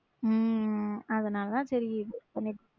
உம் அதனாலதான் சரி .